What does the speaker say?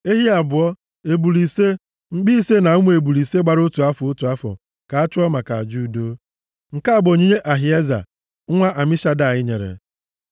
ehi abụọ, ebule ise, mkpi ise na ụmụ ebule ise gbara otu afọ, otu afọ, ka a chụọ maka aja udo. Nke a bụ onyinye Ahieza nwa Amishadai nyere.